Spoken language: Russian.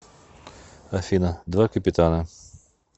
афина два капитана